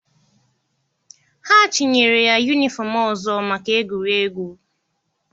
Ha chịnyere ya yunifọm ọzọ maka egwuregwu.